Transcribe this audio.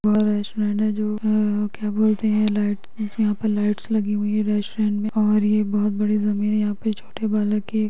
और है जो अ... क्या बोलते हैं लाईट लाइट्स लगी हुई है रेस्टोरेंट में और ये बहोत बड़ी ज़मीन है यहा पर छोटे--